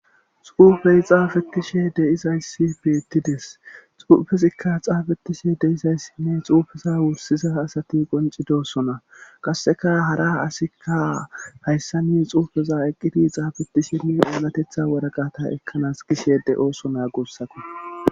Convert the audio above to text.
Xuufey xaafetishe deizayssi beettides xuufezikka xaabetishe deizayssinne xuufeza wursiza asati qoncidosona qasseka hara asikka hayssani xuufeza eqqiti xaabetisheni oolatetha waraqata ekkanas gishe de7ooso na guussako.